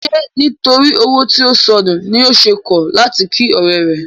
Ṣé nítorí owó tí ó sọnù ni o ṣe kọ̀ láti kí ọ̀rẹ́ rẹ?